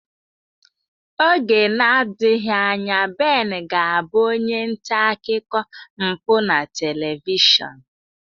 Oge nadighị anya Ben ga abụ onye nta akụkọ mpụ na telivishọn.